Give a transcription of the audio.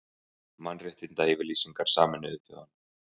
Mannréttindayfirlýsingar Sameinuðu þjóðanna.